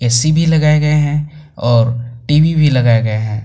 AC भी लगाए गए हैं और टी_वी भी लगाए गए हैं।